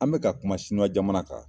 An mi ka kuma jamana kan.